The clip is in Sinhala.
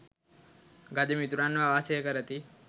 ගජ මිතුරන්ව වාසය කරති.